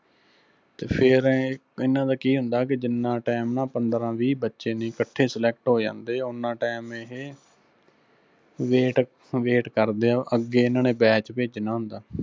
ਤੇ ਫਿਰ ਐਂ ਇਹਨਾਂ ਦਾ ਕੀ ਹੁੰਦਾ ਕੇ ਜਿੱਨਾਂ time ਨਾ ਪੰਦਰਾ ਵੀਹ ਬੱਚੇ ਨੀ ਕੱਠੇ select ਹੋ ਜਾਂਦੇ, ਉਨਾ time ਇਹੇ wait wait ਕਰਦੇ ਆ ਅੱਗੇ ਇਹਨਾਂ ਨੇ batch ਭੇਜਣਾ ਹੁੰਦਾ।